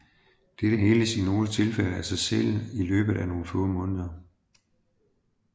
Dette heles i nogle tilfælde af sig selv i løbet af nogle måneder